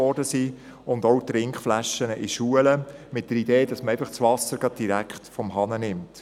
Ebenso wurden Trinkflaschen in Schulen mit der Idee verteilt, dass man das Trinkwasser direkt ab dem Wasserhahn bezieht.